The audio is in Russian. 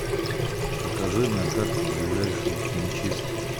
покажи на карте ближайшую химчистку